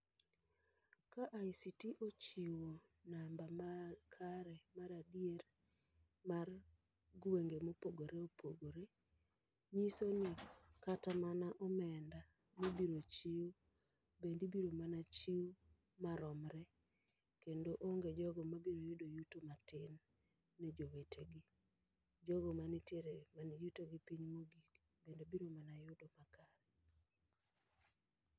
Ka ICT ochiwo namba ma kare maradier mar gwenge mopogore opogore, nyiso ni kata mana omenda mibiro chiw bende ibiro mana chiw maromre. Kendo onge jogo ma biro yudo yuto matin ne jowetegi. Jogo manitiere man yuto mapiny mogik, bende biro mana yudo [m?]akare.